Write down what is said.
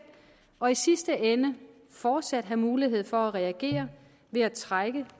og i sidste ende fortsat have mulighed for at reagere ved at trække